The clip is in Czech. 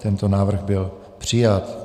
Tento návrh byl přijat.